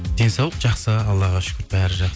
денсаулық жақсы аллаға шүкір бәрі